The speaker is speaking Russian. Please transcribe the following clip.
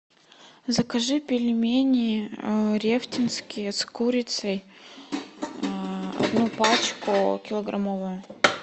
закажи пельмени рефтинские с курицей одну пачку килограммовую